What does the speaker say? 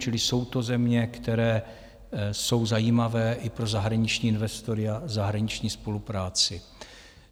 Čili jsou to země, které jsou zajímavé i pro zahraniční investory a zahraniční spolupráci.